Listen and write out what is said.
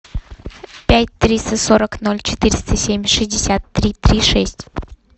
пять триста сорок ноль четыреста семь шестьдесят три три шесть